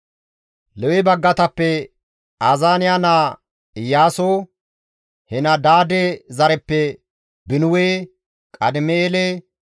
Lewe baggatappe Azaaniya naa Iyaaso, Henadaade zareppe Binuwe, Qadim7eele,